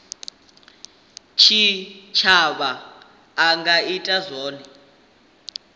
tshitshavha a nga ita zwone